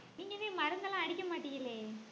நீங்க தான் மருந்தெல்லாம் அடிக்க மாட்டீங்களே